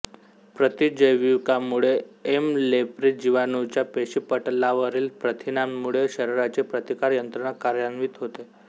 प्रतिजैविकामुळे M leprae जिवाणूच्या पेशीपटलावरील प्रथिनामुळे शरीराची प्रतिकार यंत्रणा कार्यांवित होते